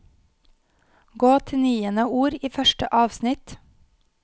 Gå til niende ord i første avsnitt